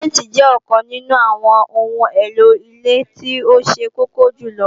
Sìmẹ́ǹtì jẹ́ ọ̀kan nínú àwọn ohun èlò ilé tó ṣe kókó jùlọ